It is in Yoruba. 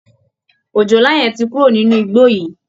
Òjòlá yẹn ti kúrò nínú igbó yìí